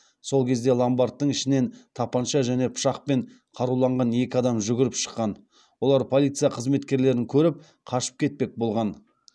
сол кезде ломбардтың ішінен тапанша және пышақпен қаруланған екі адам жүгіріп шыққан олар полиция қызметкерлерін көріп қашып кетпек болған